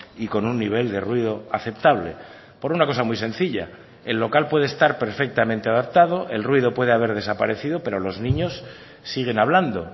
y con un nivel de ruido aceptable por una cosa muy sencilla el local puede estar perfectamente adaptado el ruido puede haber desaparecido pero los niños siguen hablando